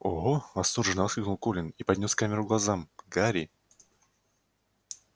ого восторженно воскликнул колин и поднёс камеру к глазам гарри